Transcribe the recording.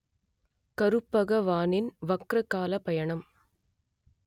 கருபகவானின் வக்ர கால பயணம்